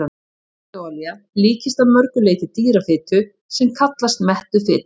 Hert jurtaolía líkist að mörgu leyti dýrafitu sem kallast mettuð fita.